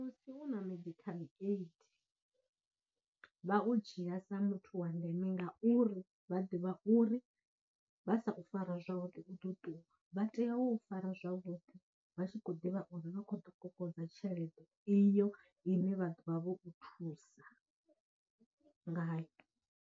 Musi u na medical aid vha u dzhia sa muthu wa ndeme ngauri vha ḓivha uri vha sa u fara zwavhuḓi u ḓo ṱuwa, vha tea u fara zwavhuḓi vha tshi khou ḓivha uri vha kho ḓo kokodza tshelede iyo ine vha ḓovha vho u thusa nga .